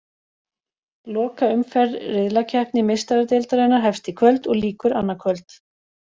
Lokaumferð riðlakeppni Meistaradeildarinnar hefst í kvöld og lýkur annað kvöld.